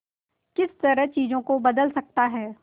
किस तरह चीजों को बदल सकता है